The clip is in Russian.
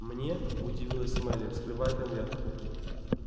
мне удивилась мелли вскрывая конверт